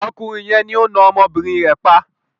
Ọkùnrin yẹn ni ó na ọmọbìnrin rẹ̀ pa.